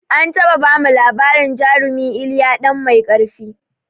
An taɓa bamu labarin jarumi iliya ɗan mai ƙarfi